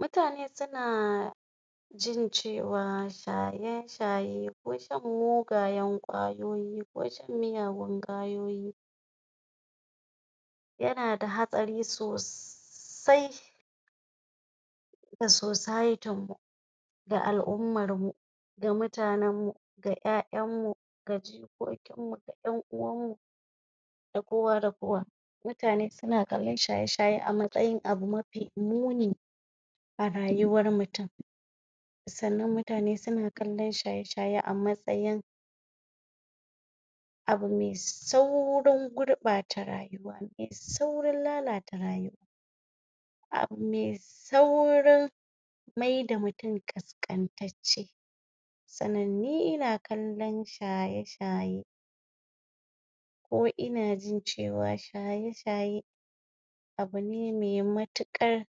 mutane suna jincewa shaye shaye ko shan mugayen ƙwayoyi ko shan miyagun ƙwayoyi yana da hatsari sosai ga societin mu da al'umar mu ga mutanen mu ga ƴaƴanmu ga jikokin mu ga ƴan uwan mu ga kuwa da kowa mutane suna kallon shaye shaye a matsayin abu mafi muni a rayuwar mutum sannan mutane suna kallon shaye shaye a matsayin abu me saurin gurɓata rayuwa me saurin lalata rayuwa abu me saurin maida mutum ƙasƙantacce sannan ni ina kallon shaye shaye ko ina jin cewa shaye shaye abune me matuƙar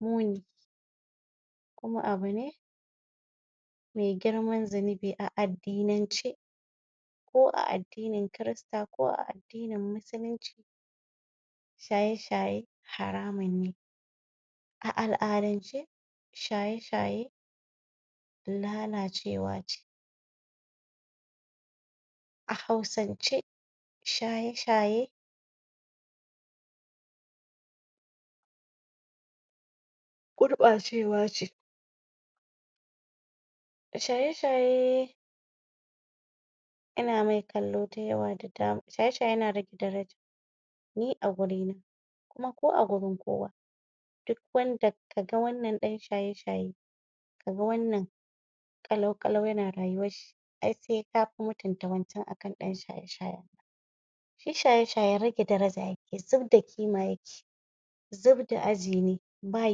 muni kuma abu ne me girman zunubi a addinan ce ko a addinin kirista ko a addinin musulunci shaye shaye haramun ne a al'adance shaye shaye lalacewa ce a hausan ce shaye shaye gurɓacewa ce shaye shaye ana mai kallo da yawa da dama shaye shaye yana rage daraja ni a gurina kuma ko agurin kowa duk wanda kaga wannan ɗan shaye shaye kaga wannan ƙalau ƙalau yana rayuwar shi ai se kafi mutunta wancan akan ɗan shaye shayen shi shaye shaye rage daraja yake zubda kima yake zub da aji ne ba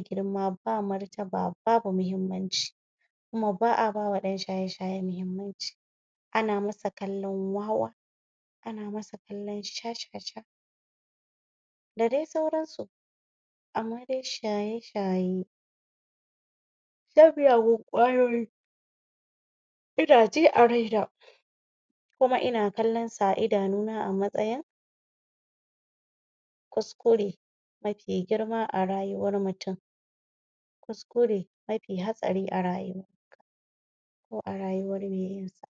girma ba martaba babu muhimmanci kuma ba'a bawa ɗan shaye shaye muhimman ci ana masa kallon wawa ana masa kallon shashasha da dai sauran su amma dai shaye shaye shan miyagun ƙwayoyi ina ji a raina kuma ina kallon sa a idanuna a matsayin kuskure mafi girma a rayuwar mutum kuskure mafi hatsari a rayuwar ka ko a rayuwar me yinsa